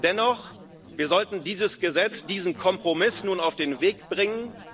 Dennoch Wir sollten dieses Gesetz, diesen Kompromiss nun auf den Weg bringen.